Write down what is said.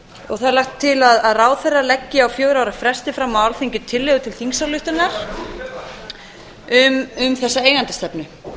og það er lagt til að ráðherra leggi á fjögurra ára fresti fram á alþingi tillögu til þingsályktunar um þessa eigendastefnu